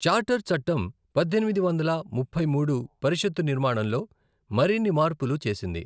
Charter చట్టం పద్దెనిమిది వందల ముప్పై మూడు పరిషత్తు నిర్మాణంలో మరిన్ని మార్పులు చేసింది.